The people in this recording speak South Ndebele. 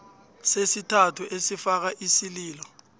sesithathu esifaka isililo